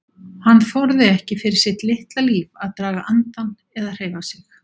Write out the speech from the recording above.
Hann þorði ekki fyrir sitt litla líf að draga andann eða hreyfa sig.